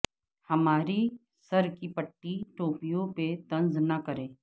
ہماری سر کی پھٹی ٹوپیوں پہ طنز نہ کر